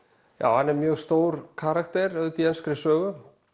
já hann er mjög stór karakter auðvitað í enskri sögu